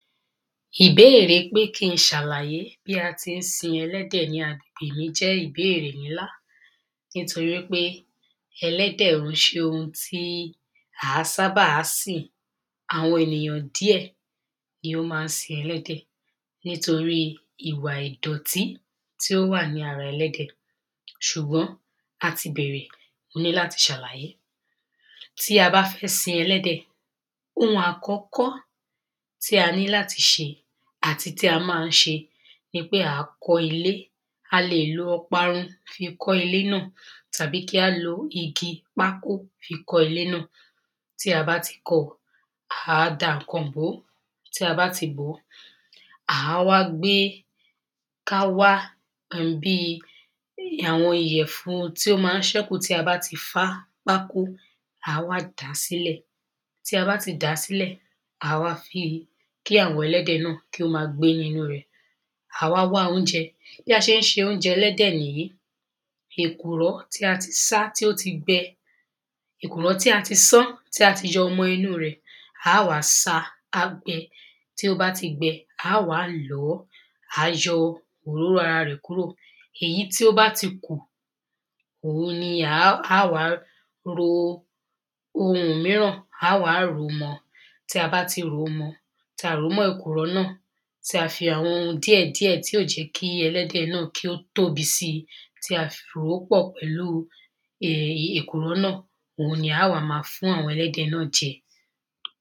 ìbéèrè pé kí n ṣàlàyé bí a tí ń sin ẹlẹ́dẹ̀ ní àgbegbe mí jẹ́ ìbéèrè ńlá nítorí pé ẹlẹ́dẹ̀ ò ń ṣe ohun tí à á sábàá sìn àwọn ènìyàn diẹ̀ ni ó má ń sin ẹlẹ́dẹ̀ nítorí ìwà ìdọ̀tí tí ó wà ní ara ẹlẹ́dẹ̀ ṣùgbọ́n a ti bẹ̀rẹ̀, mo ní láti ṣàlàyé tí a bá fẹ́ sin ẹlẹ́dẹ̀ ohun àkọ́kọ́ tí a ní láti ṣe àti tí a máa ń ṣe nipé à á kọ́ ilé a lè lo ọparun ká fi kọ́ ilé náà tàbí kí á lo igi pákó fi kọ́ ilé náà tí a bá ti kọ́ ọ à á da nǹkan bò ó tí a bá ti bò ó, à wá gbe, ká wá nǹkan bí àwọn ìyẹ̀fun tí ó máa ń ṣẹ́kù tí a bá ti fá pákó à wá dà á sílẹ̀, tí a bá ti dà á sílẹ̀, à wá fi kí àwọn ẹlẹ́dẹ̀ náà kí ó gbé ní inú rẹ̀ à wá wá oúnjẹ. bí a ṣé ń ṣe oúnjẹ ẹlẹ́dẹ̀ nìyí èkùró tí a ti sá tó ti gbẹ èkùrọ́ tí a ti sán, tí a ti yọ ọmọ inú rẹ̀, á à wá sá a á gbẹ, tí ó bá ti gbẹ, á à wá lọ̀ ọ́, à á yọ òróró ara rẹ̀ kúrò èyí tí ó bá ti kù òun ni á à wá ro ohun mìíràn, á à wá rò ó mọ tí a bá ti rò ó mọ́ ọn, tí a rò mọ́ èkùrọ́ náà, tí a fi àwọn ohun díẹ̀díẹ̀ tí ò jẹ́ kí ẹlẹ́dẹ̀ náà kí ó tóbi sí i tí a fi rò ó pọ̀ pẹ̀lú èkùrọ́ náà. òun ni á à wá máa fún àwọn ẹlẹ́dẹ̀ náà jẹ